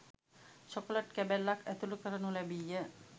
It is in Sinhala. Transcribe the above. චොකලට් කැබැල්ලක් ඇතුළු කරනු ලැබීය.